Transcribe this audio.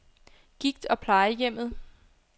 Gigt- og Plejehjemmet